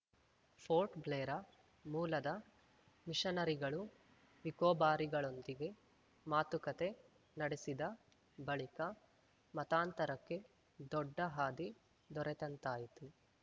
ಪೋರ್ಟ್‌ಬ್ಲೇರಾ ಮೂಲದ ಮಿಷನರಿಗಳು ನಿಕೋಬಾರಿಗಳೊಂದಿಗೆ ಮಾತುಕತೆ ನಡೆಸಿದ ಬಳಿಕ ಮತಾಂತರಕ್ಕೆ ದೊಡ್ಡ ಹಾದಿ ದೊರೆತಂತಾಯಿತು